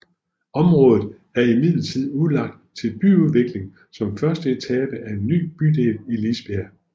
Området er imidlertid udlagt til byudvikling som første etape af en ny bydel i Lisbjerg